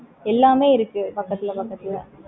எல்லாமே இருக்கு பக்கத்துல பக்கத்துல